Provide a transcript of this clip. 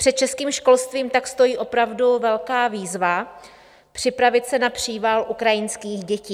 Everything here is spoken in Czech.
Před českým školstvím tak stojí opravdu velká výzva připravit se na příval ukrajinských dětí.